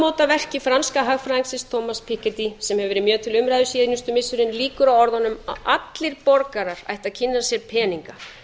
tækifæri tímamótaverki franska hagfræðingsins komast pegiti sem hefur verið mjög til umræðu síðustu missirin lýkur á orðunum allir borgarar ættu að kynna sér peninga